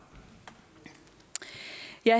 jeg